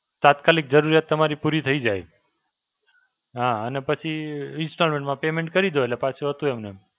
તાત્કાલિક જરૂરિયાત તમારી પૂરી જાય. હાં અને પછી Installment માં payment કરી દો એટલે હતું એમનેમ.